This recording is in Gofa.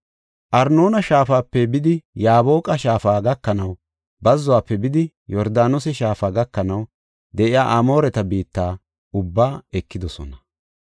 Arnoona shaafape bidi Yaaboqa shaafa gakanaw, bazzuwafe bidi Yordaanose shaafa gakanaw de7iya Amooreta biitta ubbaa ekidosona.